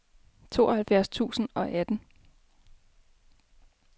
tooghalvfjerds tusind og atten